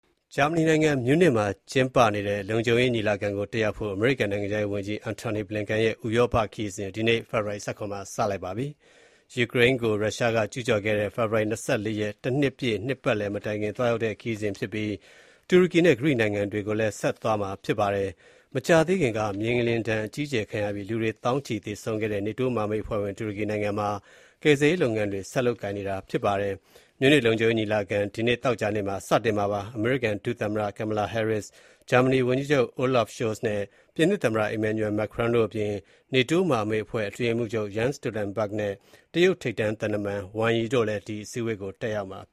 ဂျာမနီနိုင်ငံ မြူးနစ်မြို့တော်မှာကျင်းပနေတဲ့ လုံခြုံရေးညီလာခံကို တက်ရောက်ဖို့ အမေရိကန် နိုင်ငံခြားရေးဝန်ကြီး Antony Blinken ရဲ့ ဥရောပကို ခရီးစဉ် ဒီနေ့ ဖေဖော်ဝါရီ ၁၇ ရက်နေ့မှာ စတင်ပါတယ်။ ယူကရိန်းကို ရုရှားက ကျုးကျော်ခဲ့တဲ့ ဖေဖေါ်ဝါရီလ ၂၄ ရက် တနှစ်ပြည့် နှစ်ပတ်လည် မတိုင်ခင်သွားရောက်တဲ့ ခရီးစဉ်ဖြစ်ပြီး တူရကီနဲ့ ဂရိနိုင်ငံတွေကိုလည်း သွားရောက်မှာပါ။ မကြာသေးခင်က မြေငလျင်ဒဏ် အကြီးအကျယ်ခံရပြီး လူတွေ သောင်းချီသေဆုံးခဲ့တဲ့ နေတိုးမဟာမိတ်အဖွဲ့ဝင် တူရကီနိုင်ငံမှာ ကယ်ဆယ်ရေးလုပ်ငန်းတွေ ဆက်လက်လုပ်ကိုင်နေပါတယ်။ မြူးနစ်လုံခြုံရေးညီလာခံဟာ ဒီနေ့ သောကြာနေ့ စတင်မှာပါ။ အမေရိကန် ဒုသမ္မတ Kamala Harris, ဂျာမနီဝန်ကြီးချုပ် Olaf Scholz နဲ့ ပြင်သစ်သမ္မတ Emmanuel Macron တို့အပြင် နေတိုးမဟာမိတ်အဖွဲ့ အတွင်းရေးမှုးချုပ် Jens Stoltenberg နဲ့ တရုတ်ထိပ်တန်း သံတမန် Wang Yi လည်း အစည်းအဝေး တက်ရောက်မှာပါ။